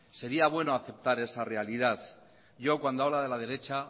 sería bueno aceptar esa realidad yo cuando habla de la derecha